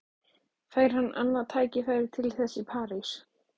Fær hann annað tækifæri til þess í París?